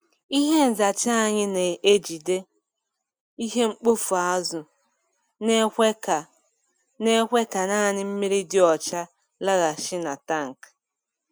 Ihe nzacha anyị na-ejide ihe mkpofu azụ na-ekwe ka na-ekwe ka naanị mmiri dị ọcha laghachi na tankị.